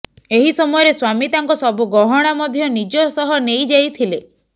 ଏହି ସମୟରେ ସ୍ବାମୀ ତାଙ୍କ ସବୁ ଗହଣା ମଧ୍ୟ ନିଜ ସହ ନେଇ ଯାଇଥିଲେ